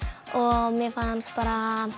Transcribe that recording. og mér fannst bara